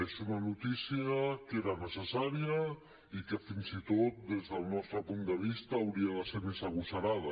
és una notícia que era necessària i que fins i tot des del nostre punt de vista hauria de ser més agosarada